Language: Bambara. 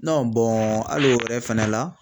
Nɔn bɔn ali o yɛrɛ fɛnɛ la